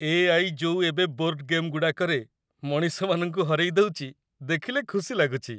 AI. ଯୋଉ ଏବେ board ଗେମ୍‌ଗୁଡ଼ାକରେ ମଣିଷମାନଙ୍କୁ ହରେଇଦଉଚି, ଦେଖିଲେ ଖୁସି ଲାଗୁଚି ।